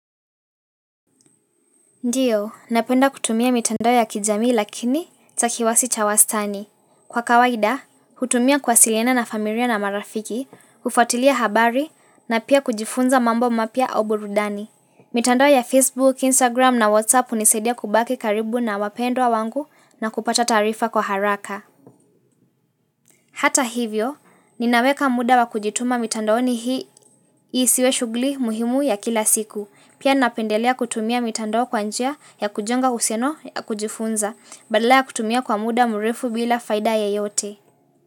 Ndio, napenda kutumia mitandao ya kijamii lakini cha kiasi cha wastani. Kwa kawaida, hutumia kuwasiliana na familia na marafiki, kufatilia habari na pia kujifunza mambo mapya au burudani. Mitandao ya Facebook, Instagram na WhatsApp hunisaidia kubaki karibu na wapendwa wangu na kupata taarifa kwa haraka. Hata hivyo, ninaweka muda wa kujituma mitandoni hii isiwe shughuli muhimu ya kila siku. Pia napendelea kutumia mitandao kwa njia ya kujenga uhusiano ya kujifunza, badala ya kutumia kwa muda mrefu bila faida ya yote.